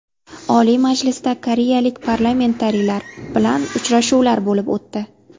Oliy Majlisda koreyalik parlamentariylar bilan uchrashuvlar bo‘lib o‘tdi.